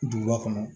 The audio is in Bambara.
Duguba kɔnɔ